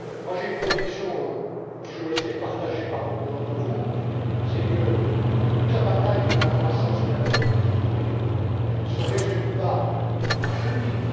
J'ai une conviction qui je le sais est partagée par beaucoup d'entre vous, c'est que toute la bataille de la croissance et de la compétitivité ne se résume pas au marché unique.